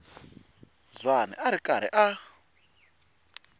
zwane a ri karhi a